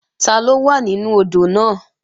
Taló wà nínú odò náà?